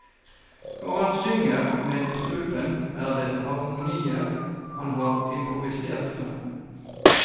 Når han synger med strupen, er det harmonier han har improvisert frem.